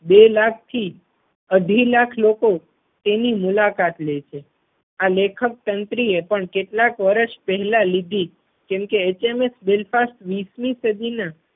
બે લાખ થી અઢી લાખ લોકો તેની મુલાકાત લે છે. આ લેખક સંત્રી એ પણ કેટલાક વર્ષ પહેલા લીધી કેમ કે HMS Belfast વીસમી સદી ના